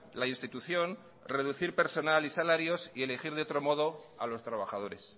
la institución reducir personal y salarios y elegir de otro modo a los trabajadores